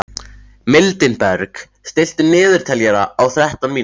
Mildinberg, stilltu niðurteljara á þrettán mínútur.